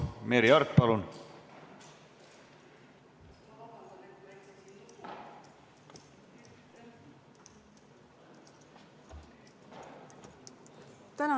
Merry Aart, palun!